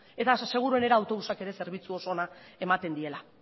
eta oso seguruenera autobusak ere zerbitzu oso onak ematen diela